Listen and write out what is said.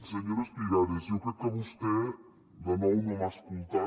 senyora espigares jo crec que vostè de nou no m’ha escoltat